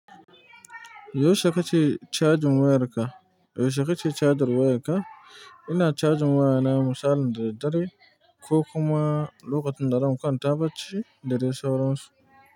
Yaushe kace cajin wayarka? Yaushe kace cajin wayarka? Ina cajin wayana misalin da daddare ko kuma lokacin da zan kanta bacci da dai sauran su.